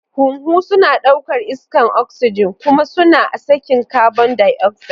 Huhu suna ɗaukar iskar oxygen kuma suna sakin carbon dioxide.